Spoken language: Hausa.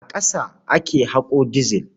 A ƙasa ake haƙo dizil.